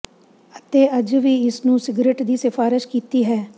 ਅਤੇ ਅਜੇ ਵੀ ਇਸ ਨੂੰ ਸਿਗਰਟ ਦੀ ਸਿਫਾਰਸ਼ ਕੀਤੀ ਹੈ